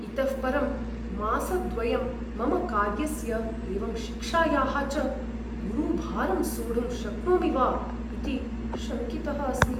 इतः परं मासद्वयं मम कार्यस्य एवं शिक्षायाः च गुरुभारं सोढुं शक्नोमि वा इति शङ्कितः अस्मि।